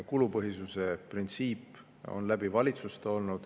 Kulupõhisuse printsiip on olnud läbi valitsuste.